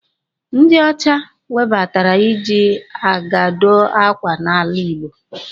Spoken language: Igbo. Ndị ọcha webatara iji aga dụọ ákwà n'ala Igbo.